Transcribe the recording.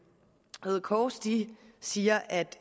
røde kors siger at